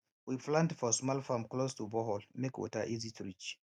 we plant for small farm close to borehole make water easy to reach